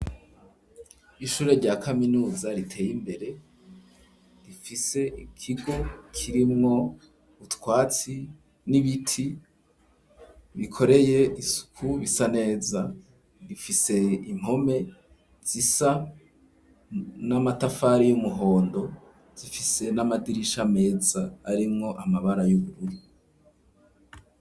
Ishure rya kaminuza riteye imbere rifise ikigo kirimwo utwatsi n'ibiti bikoreye isuku bisa neza, rifise impome zisa n'amatafari y'umuhondo rifise n'amadirisha, ameza arimwo amabara y'ubururi.